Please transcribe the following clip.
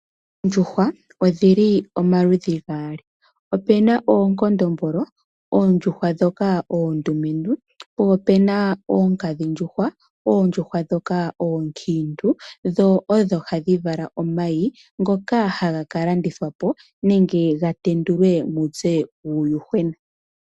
Oondjuhwa odhili omaludhi gaali opena oonkondombolo oondjuhwa ndhoka oondumentu, po opena oonkadhindjuhwa oondjuhwa ndhoka ookiintu dho odho hadhi vala omayi ngoka haga kalandithwapo nenge ga tendulwe muze uuyuhwena